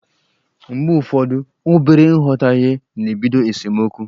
Mgbe ụfọdụ, obere nghọtahie na-ebido esemeokwu.